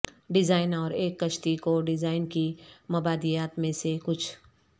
design اور ایک کشتی کو ڈیزائن کی مبادیات میں سے کچھ